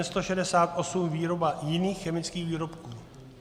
N168 - výroba jiných chemických výrobků.